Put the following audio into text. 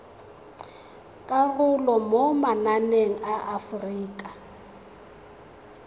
karolo mo mananeng a aforika